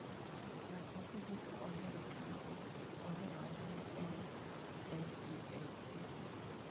"Ng'at ma ji duto ohero kendo ohero ahinya e LCFC."""